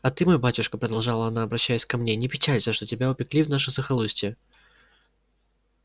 а ты мой батюшка продолжала она обращаясь ко мне не печалься что тебя упекли в наше захолустье